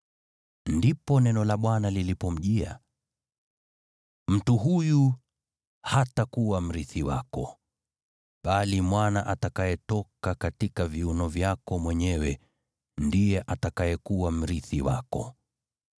Ndipo neno la Bwana lilipomjia: “Mtu huyu hatakuwa mrithi wako, bali mwana atakayetoka katika viuno vyako mwenyewe ndiye atakayekuwa mrithi wako.”